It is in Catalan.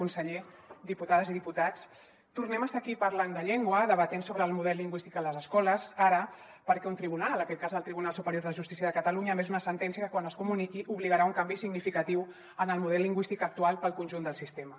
conseller diputades i diputats tornem a estar aquí parlant de llengua debatent sobre el model lingüístic a les escoles ara perquè un tribunal en aquest cas el tribunal superior de justícia de catalunya ha emès una sentència que quan es comuniqui obligarà a fer un canvi significatiu en el model lingüístic actual per al conjunt del sistema